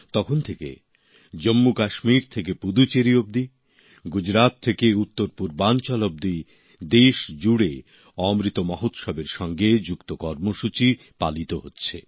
সেই সময় জম্মুকাশ্মীর থেকে পুদুচ্চেরি অবধি গুজরাত থেকে উত্তর পূর্বাঞ্চল অবধি দেশ জুড়ে অমৃত মহোৎসবের সঙ্গে যুক্ত কর্মসূচী পালিত হচ্ছে